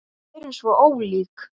Við erum svo ólík.